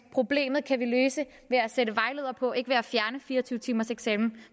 problemet med fire og tyve timers eksamen